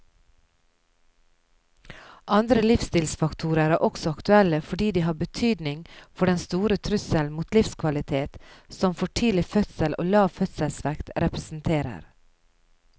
Andre livsstilfaktorer er også aktuelle fordi de har betydning for den store trussel mot livskvalitet som for tidlig fødsel og lav fødselsvekt representerer.